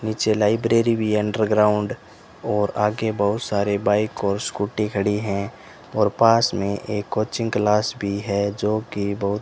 नीचे लाइब्रेरी भी है अंडरग्राउंड और आगे बहुत सारे बाइक और स्कूटी खड़ी हैं और पास में एक कोचिंग क्लास भी है जोकि बहुत --